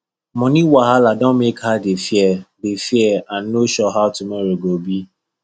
money wahala don make her dey fear dey fear and no sure how tomorrow go be